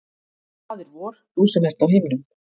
Faðir vor, þú sem ert á himnum,